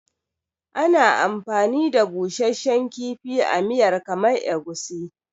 Ana amfani da busasshen kifi a miyar kamar Egusi.